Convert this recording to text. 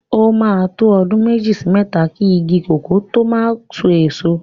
O máa ń tó ọdún méjì sí mẹ́ta ki igi kòkó tó máa so èso.